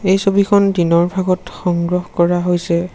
এই ছবিখন দিনৰ ভাগত সংগ্ৰহ কৰা হৈছে।